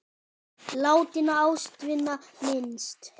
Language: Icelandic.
Látinna ástvina minnst.